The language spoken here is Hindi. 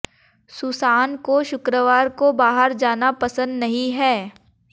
सुसान को शुक्रवार को बाहर जाना पसंद नहीं है